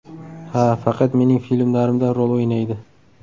Ha, faqat mening filmlarimda rol o‘ynaydi.